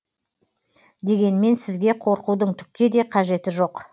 дегенмен сізге қорқудың түкке де қажеті жоқ